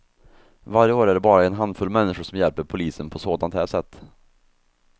Varje år är det bara en handfull människor som hjälper polisen på sådant här sätt.